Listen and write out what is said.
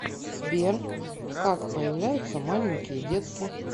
сбер как появляются маленькие детки